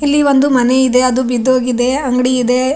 ಇಲ್ಲಿ ಒಂದು ಮನೆ ಇದೆ ಅದು ಬಿದ್ದು ಹೋಗಿದೆ ಅಂಗಡಿ ಇದೆ.